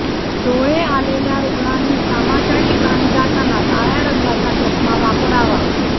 डोळे आलेल्या रुग्णांनी कामाच्या ठिकाणी जाताना काळय़ा रंगाचा चष्मा वापरावा